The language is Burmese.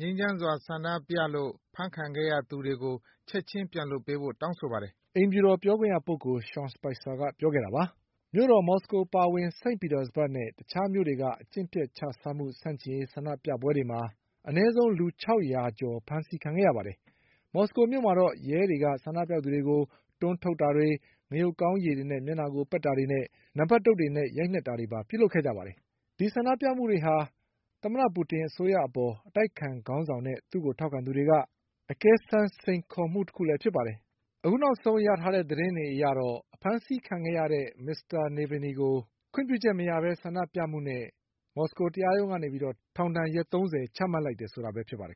ငြိမ်းချမ်းစွာ ဆန္ဒပြလို့ဖမ်းဆီးခံခဲ့ရသူတွေကို ချက်ချင်းပြန်လွှတ်ပေးဖို့တောင်းဆိုပါတယ်။ "လို့ အိမ်ဖြူတော်ပြောခွင့်ရပုဂ္ဂိုလ် ရှောင် စပိုက်ဆာ ပြောခဲ့တာပါ။ မြို့တော်မော်စကို အပါအဝင် စိန့်ပီတာ စဘက်နဲ့တခြားမြို့တွေက အကျင့်ပျက်ခြစားမှုဆန့်ကျင်ရေးဆန္ဒပြမှုတွေမှာ အနည်းဆုံးလူ ၆၀၀ကျော် အဖမ်းခံခဲ့ကြရပါတယ်။ မော်စကိုမြို့မှာတော့ ရဲတွေက ဆန္ဒပြသူတွေကို တွန်းထုတ်တာတွေ ငရုတ်ကောင်းရေတွေ နဲ့မျက်နှာကိုပက်တာတွေနဲ့ နံပတ်ဒုတ်တွေနဲ့ရိုက်နှက်တာတွေပါလုပ်ခဲ့ကြပါတယ်။ ဒီဆန္ဒပြမှုတွေဟာ သမ္မတပူတင်အစိုးရအပေါ် အတိုက်အခံခေါင်းဆောင်နဲ့သူ့ကိုထောက်ခံသူတွေရဲ့ အကဲစမ်းစိန်ခေါ်မှု တခုလည်းဖြစ်ပါတယ်။ အခုနောက်ဆုံးရထားတဲ့သတင်းတွေအရတော့ အဖမ်းဆီးခံခဲ့ရတဲ့ မစ္စတာ Navalnyကို ခွင့်ပြုချက် မရပဲ ဆန္ဒပြမှုနဲ့မော်စကိုတရားရုံးကနေ ထောင်ဒဏ်ရက်သုံးဆယ်ချမှတ်လိုက်တယ်ဆိုတာပဲဖြစ်ပါတယ်